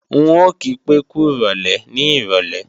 N ò kí pé kúròlè ní ìrọ̀lé